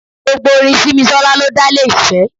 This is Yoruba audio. Gbogbo orin Simisola ló dá lé ìfẹ́.